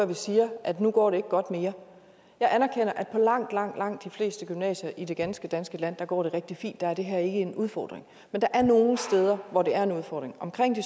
vi siger at nu går det ikke godt mere jeg anerkender at på langt langt langt de fleste gymnasier i det ganske danske land går det rigtig fint og der er det her ikke en udfordring men der er nogle steder hvor det er en udfordring omkring de